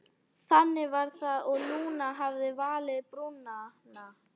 Þannig var það og Lúna hafði valið Brúnan.